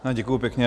Děkuji pěkně.